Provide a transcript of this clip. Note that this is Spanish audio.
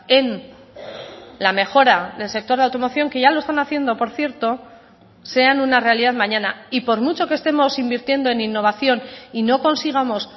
en la mejora del sector de automoción que ya lo están haciendo por cierto sean una realidad mañana y por mucho que estemos invirtiendo en innovación y no consigamos